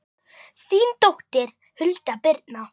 þín dóttir, Hulda Birna.